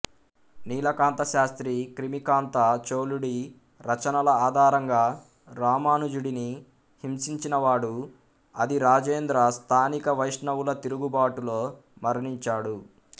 నీలకాంత శాస్త్రి క్రిమికాంత చోళుడి రచనల ఆధారంగా రామానుజుడిని హింసించినవాడు అధిరాజేంద్ర స్థానిక వైష్ణవుల తిరుగుబాటులో మరణించాడు